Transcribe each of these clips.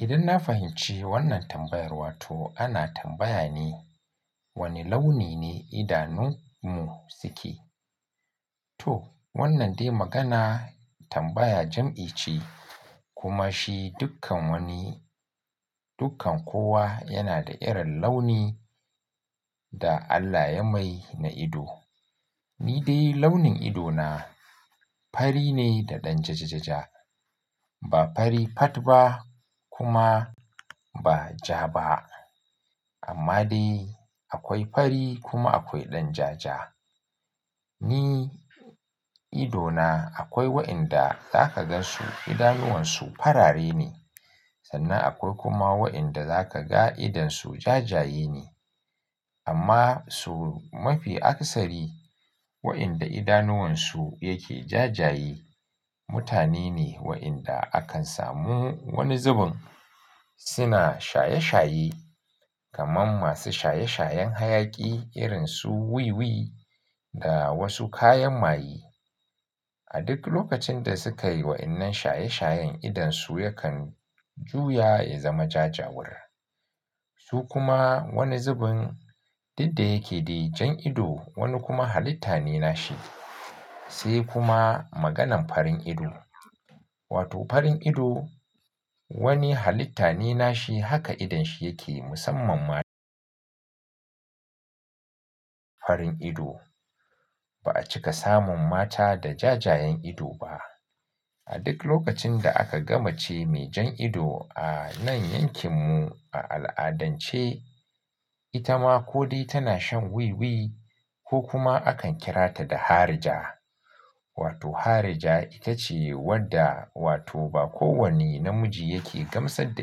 Idan na fahimci wannan tambayar, wato ana tambaya ne wane launi ne idanunmu suke. To wannan dai magana tambaya jam'i ce kuma shi dukkan wani, dukkan kowa yana da irin launi da Allah ya mai na ido. Ni dai launin idona fari ne da ɗan jajajaja. Ba fari pat ba kuma ba ja ba. Amma dai akwai fari kuma akwai ɗan ja ja. Ni idona akwai wa'inda za ka gan su idanuwansu farare ne. Sannan akwai kuma wa'inda za ka ga idonsu jajaye ne. Amma su mafi aksari wa'inda idanuwansu yake jajayi mutane ne wa'inda akan samu wani zubin suna shaye shaye kamar masu shaye shayen hayaƙi irin su wiwi da wasu kayan maye. A duk lokacin da suka yi wa'innan shaye shayen idonsu yakan juya ya zama jajawur. Su kuma wani zubin duk da yake dai jan ido wani kuma halitta ne nashi. Sai kuma maganan farin ido. Wato farin ido wani halitta ne nashi haka idon shi yake musamman ma farin ido. Ba a cika samun mata da jajayen ido ba. A duk lokacin da aka gama ce mai jan ido a nan yankin mu a al'adance ita ma ko dai tana shan wiwi ko kuma akan kira ta da harija. Wato harija ita ce wadda wato ba kowani namiji yake gamsar da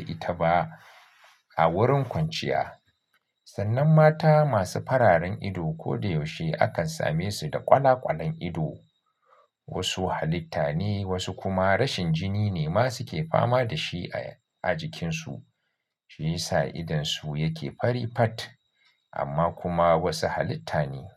ita ba a wurin kwanciya. Sannan mata masu fararen ido ko da yaushe akan same su da kwala kwalan ido. Wasu halitta ne wasu kuma rashin jini ne masu ke fama da shi a jikinsu. Shi yasa idonsu yake fari pat amma kuma wasu halitta ne.